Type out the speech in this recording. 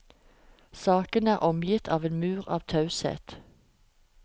Saken er omgitt av en mur av taushet.